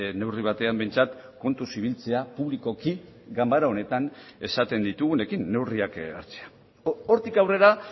neurri batean behintzat kontuz ibiltzea publikoki ganbara honetan esaten ditugunekin neurriak hartzea hortik aurrera